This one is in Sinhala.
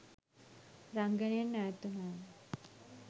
රංගනයෙන් ඈත් වුණාම